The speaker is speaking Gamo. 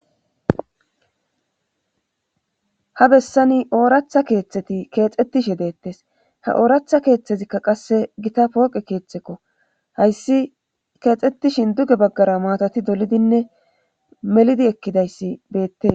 Habessani ooratha keeththeti keexettishe deettes haooratha keeththezikka qasse gita pooqe keeththekko hayssi keexxettishin duge baggara matoti dolidinne melidi ekkidayssi beette.